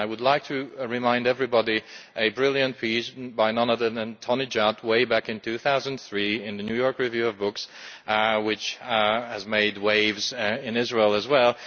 I would like to remind everybody of a brilliant piece by none other than Tony Judd, way back in 2003 in the New York Review of Books which made waves in Israel as well.